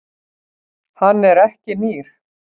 Hann er ekki nýr.